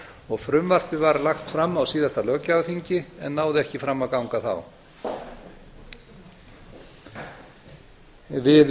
og frumvarpið var lagt fram á síðasta löggjafarþingi en náði ekki fram að ganga þá við